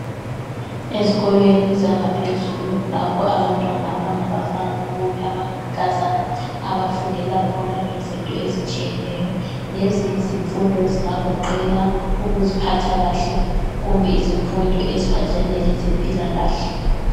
Ezikolweni zangaphezulu lapho abantwana abangabafana kumbe abangamankazana abafundela khona ngezinto ezitshiyeneyo. Lezi izifundo zingagoqela ukuziphatha kahle kumbe izimfundo eziphathelane lezempilakahle.